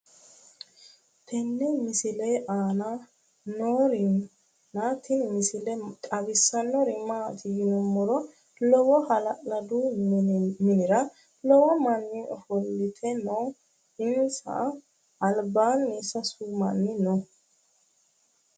tenne misile aana noorina tini misile xawissannori maati yinummoro lowo hala'ladu minnira lowo manni offolitte noo insa alibbanni sasu manni noo